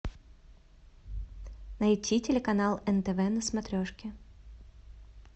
найти телеканал нтв на смотрешке